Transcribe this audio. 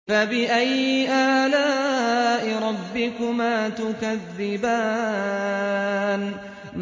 فَبِأَيِّ آلَاءِ رَبِّكُمَا تُكَذِّبَانِ